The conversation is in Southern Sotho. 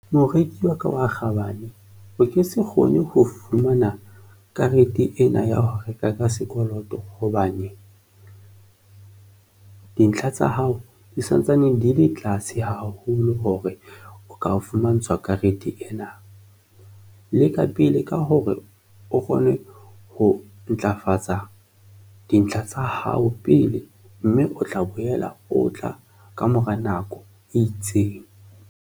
Moreki wa ka wa kgabane, o ke se kgone ho fumana karete ena ya ho reka ka sekoloto hobane dintlha tsa hao di santsane di le tlase haholo hore o ka fumantshwa karete ena. Leka pele ka hore o kgone ho ntlafatsa dintlha tsa hao pele mme o tla boela o tla kamora nako e itseng.